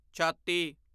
ਛਾਤੀ